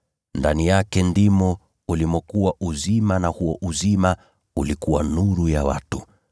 Ndani yake ndimo ulimokuwa uzima na huo uzima ulikuwa nuru ya watu.